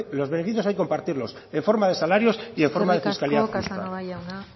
lo beneficios hay que compartirlos en forma de salarios y en forma de fiscalidad eskerrik asko casanova jauna